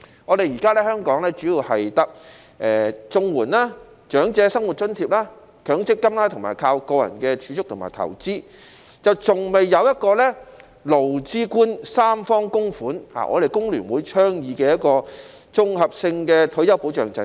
現時香港的退休保障主要有綜合社會保障援助、長者生活津貼、強積金，以及個人的儲蓄和投資，還沒有一個勞資官三方供款的制度，即香港工會聯合會倡議的一個綜合性退休保障制度。